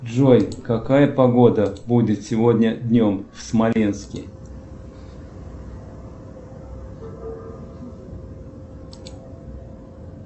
джой какая погода будет сегодня днем в смоленске